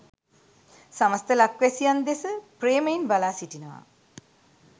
සමස්ත ලක්වැසියන් දෙස ප්‍රේමයෙන් බලා සිටිනවා.